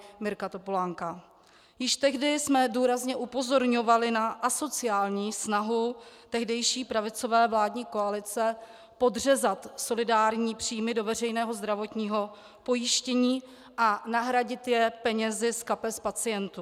Již tehdy jsme důrazně upozorňovali na asociální snahu tehdejší pravicové vládní koalice podřezat solidární příjmy do veřejného zdravotního pojištění a nahradit je penězi z kapes pacientů.